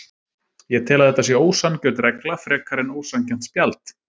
Ég tel að þetta sé ósanngjörn regla frekar en ósanngjarnt spjald.